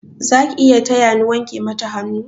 Zaki iya taya ni wanke mata hannu?